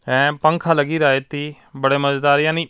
ਇਹ ਪੰਖਾ ਲਗਾ ਰਹਿਤੀ ਬੜਾ ਮਜ਼ੇਦਾਰ --